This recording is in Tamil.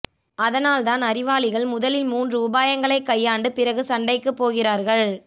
அதனால்தான் அறிவாளிகள் முதலில் மூன்று உபாயங்களைச் கையாண்டு பிறகு சண்டைக்குப் போகிறார்கள்